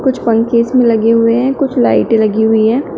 कुछ पंखे इसमें लगे हुए हैं कुछ लाइटे लगी हुई हैं।